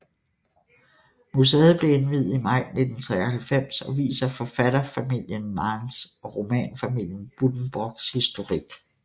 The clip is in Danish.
Museet blev indviet i maj 1993 og viser forfatterfamilien Manns og romanfamilien Buddenbrooks historik